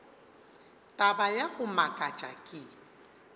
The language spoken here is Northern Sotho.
taba ya go makatša ke